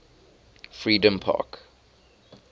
freedompark